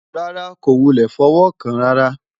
rárá, kò wulẹ̀ fọwọ́ kàn án rárá